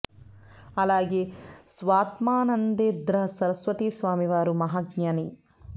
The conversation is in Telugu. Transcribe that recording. అలాగే స్వాత్మానందేంద్ర సరస్వతి స్వామి వారు మహా జ్ఞాని